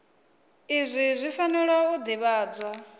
izwi zwi fanela u ḓivhadzwa